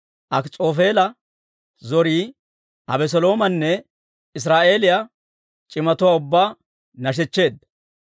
Akis'oofeela zorii Abeseloomanne Israa'eeliyaa c'imatuwaa ubbaa nashechcheedda.